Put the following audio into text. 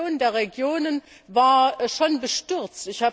Die Reaktion der Regionen war schon bestürzt.